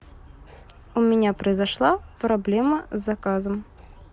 у меня произошла проблема с заказом